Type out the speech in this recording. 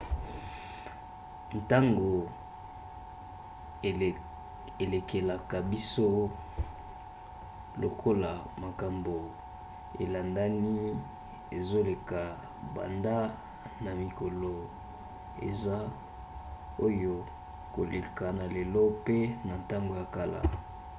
ntango elekelaka biso lokola makambo elandani ezoleka banda na mikolo eza oyo koleka na lelo pe na ntango ya kala